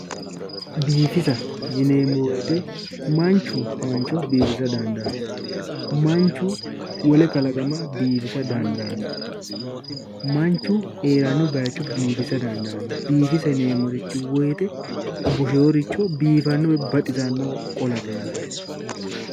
Biifisa yinneemmo woyte manchu mancho biifisa dandaano, manchu wole kalqama biifisa dando, manchu heerano darga biifisa dandaano, biifisa yinneemmorichi woyte biifisa woyi baxisanowa qollate yaate